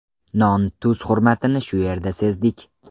Non-tuz hurmatini shu yerdan sezdik.